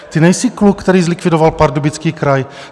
Ty nejsi kluk, který zlikvidoval Pardubický kraj.